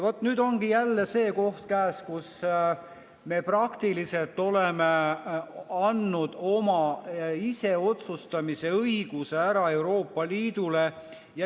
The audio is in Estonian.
Vaat nüüd ongi jälle see koht käes, kus me praktiliselt oleme andnud oma iseotsustamise õiguse ära Euroopa Liidule.